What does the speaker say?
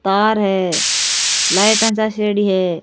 तार है लाइटा चासेड़ी है।